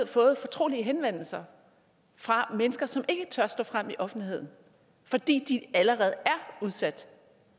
fået fortrolige henvendelser fra mennesker som ikke tør stå frem i offentligheden fordi de allerede er udsat